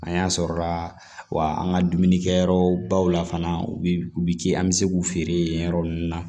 An y'an sɔrɔ la wa an ka dumunikɛyɔrɔbaw la fana u bi u bi kɛ an bɛ se k'u feere yen yɔrɔ ninnu na